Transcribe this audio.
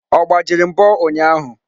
Ọ gbajiri mbo ụnyahụ?